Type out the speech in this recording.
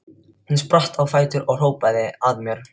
Hún spratt á fætur og hrópaði að mér: